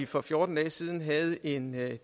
for fjorten dage siden havde en